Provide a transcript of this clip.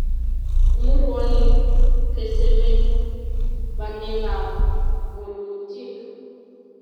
imurwoni kesemee balekab bolutik